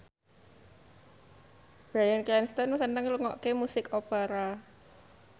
Bryan Cranston seneng ngrungokne musik opera